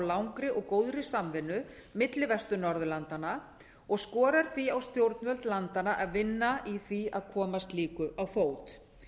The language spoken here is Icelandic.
langri og góðri samvinnu milli vestur norðurlandanna og skorar því á stjórnvöld landanna að vinna í því að koma slíku á fót